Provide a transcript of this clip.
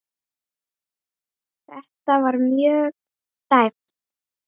Þetta var mjög tæpt.